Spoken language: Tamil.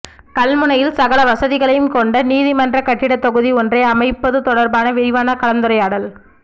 கல்முனையில் சகல வசதிகளையும் கொண்ட நீதி மன்ற கட்டிட தொகுதி ஒன்றை அமைப்பது தொடர்பான விரிவான கலந்துரையாடல்